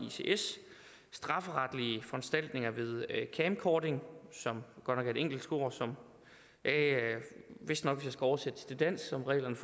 strafferetlige foranstaltninger ved camcording som godt nok er et engelsk ord som vistnok hvis oversætte til dansk hvad reglerne